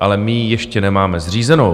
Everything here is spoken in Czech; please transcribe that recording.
ale my ji ještě nemáme zřízenou.